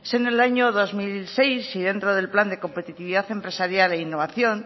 siendo el año dos mil seis y dentro del plan de competitividad empresarial e innovación